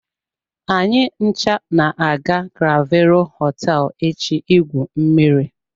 Anyị ncha na-aga clavero hoteelu echi igwu mmiri.